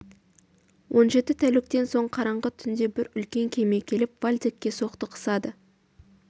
он жеті тәуліктен соң қараңғы түнде бір үлкен кеме келіп вальдекке соқтығысады